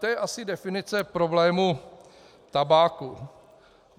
To je asi definice problému tabáku.